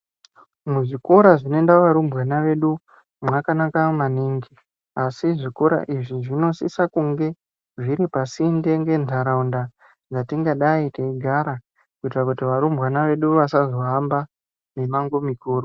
Muzvikora zvinoenda varumbwana vedu mwakanaka maningi asi zvikora izvi zvinosisa kunge zviripasinde ngendaraunda yatingadai teigara kuitira kuti varumbwana vedu vasazo hamba mimango mikuru